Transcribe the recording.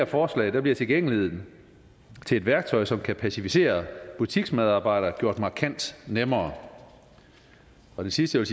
forslag bliver tilgængeligheden til et værktøj som kan pacificere butiksmedarbejderne gjort markant nemmere det sidste jeg